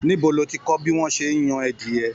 Níbo ló tí kọ bí wọn ṣe n yan adiẹ?